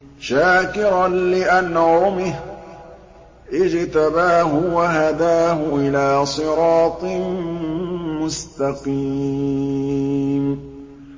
شَاكِرًا لِّأَنْعُمِهِ ۚ اجْتَبَاهُ وَهَدَاهُ إِلَىٰ صِرَاطٍ مُّسْتَقِيمٍ